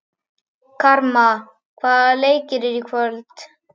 Karma, hvaða leikir eru í kvöld?